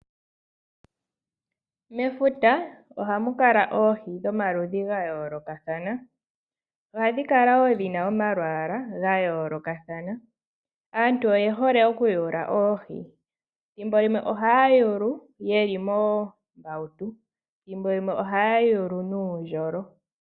Mefuta ohamu kala oohi dhomaludhi ga yoolokathana. Ohadhi kala wo dhi na omalwaala ga yoolokathana. Aantu oye hole okuyula oohi. Thimbo limwe ohaya yulu ye li moombauto, thimbo limwe ohaya yulu nuundjolo.